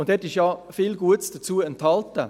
– In diesem ist ja viel Gutes dazu enthalten.